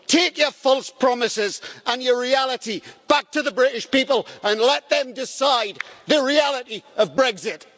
Take your false promises and your reality back to the British people and let them decide the reality of Brexit.